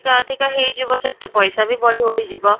କା ଅଧିକ ହେଇ ଯିବ ସେତେ ପଇସା ବି ବଢି ବଢି ଯିବ